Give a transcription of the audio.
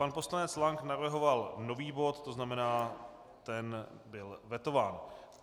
Pan poslanec Lank navrhoval nový bod, to znamená, ten byl vetován.